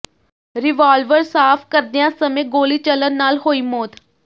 revolver ਸਾਫ਼ ਕਰਦਿਆਂ ਸਮੇਂ ਗੋਲੀ ਚੱਲਣ ਨਾਲ ਹੋਈ ਮੌਤ